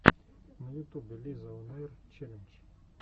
в ютубе лизаонэйр челлендж